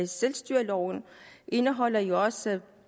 selvstyreloven indeholder jo også